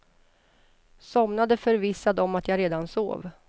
Somnade förvissad om att jag redan sov.